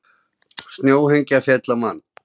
Snjóhengja féll á mann